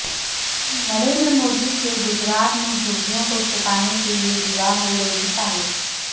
نریندر مودی کے گجرات میں جھگیوں کو چھپانے کے لئے دیوار ہو رہی تعمیر